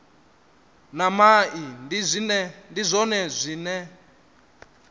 na mai ndi zwone zwine